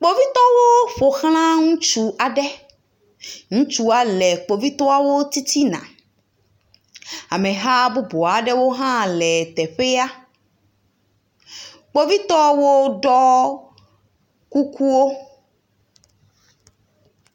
Kpovitɔwo ƒoxla ŋutsu aɖe, ŋutsua le kpovitɔwo titina, ameha bubu aɖewo hã le teƒea, kpovitɔwo ɖɔ kukuwo.